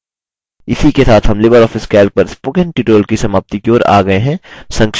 इसी के साथ हम लिबर ऑफिस calc पर spoken tutorial की समाप्ति की ओर आ गये हैं